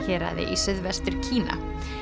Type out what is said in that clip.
héraði í Suðvestur Kína